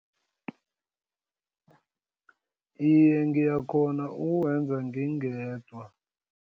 Iye, ngiyakghona ukuwenza ngingedwa.